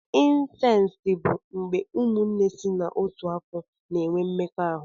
Incesti bụ mgbé ụmụnne sị n'ọtu afọ na-enwe mmekọ ahụ.